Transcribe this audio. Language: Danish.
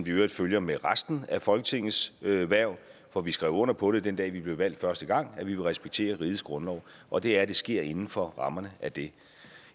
i øvrigt følger med resten af folketingets hverv for vi skrev under på det den dag vi blev valgt første gang at vi vil respektere rigets grundlov og det er at det sker inden for rammerne af det